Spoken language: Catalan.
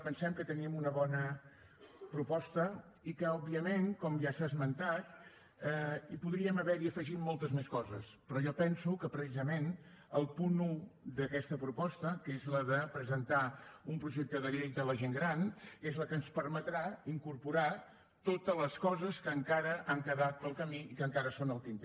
pensem que tenim una bona proposta i que òbviament com ja s’ha esmentat hi podríem haver afegit moltes més coses però jo penso que precisament el punt un d’aquesta proposta que és la de presentar un projecte de llei de la gent gran és la que ens permetrà incorporar totes les coses que encara han quedat en el camí i que encara són al tinter